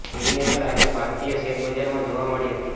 જેની અસર આજે ભારતીય શેરબજારમાં જોવા મળી હતી